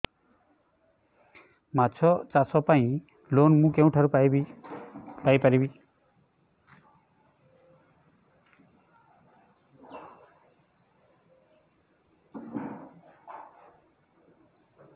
ମାଛ ଚାଷ ପାଇଁ ଲୋନ୍ ମୁଁ କେଉଁଠାରୁ ପାଇପାରିବି